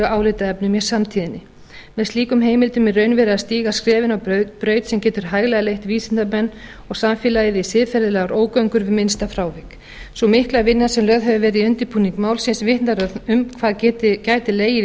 álitaefnum í samtíðinni með slíkum heimildum er í raun verið að stíga skref inn á braut sem getur hæglega leitt vísindamenn og samfélagið í siðferðilegar ógöngur við minnsta frávik sú mikla vinna sem lögð hefur verið í undirbúning málsins vitnar öll um hvað gæti legið í